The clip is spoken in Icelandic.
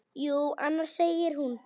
Jú, annars, segir hún.